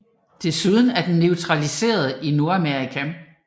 Desuden er den naturaliseret i Nordamerika